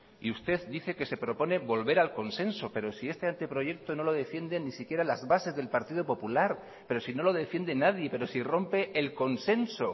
y usted dice que se propone volver al consenso pero si este anteproyecto no lo defienden ni siquiera las bases del partido popular pero si no lo defiende nadie pero si rompe el consenso